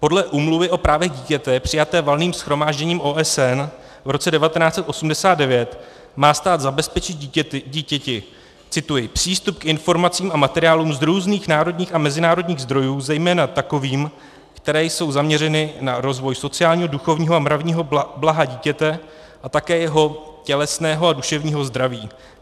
Podle Úmluvy o právech dítěte přijaté Valným shromážděním OSN v roce 1989 má stát zabezpečit dítěti - cituji - přístup k informacím a materiálům z různých národních a mezinárodních zdrojů, zejména takovým, které jsou zaměřeny na rozvoj sociálního, duchovního a mravního blaha dítěte a také jeho tělesného a duševního zdraví.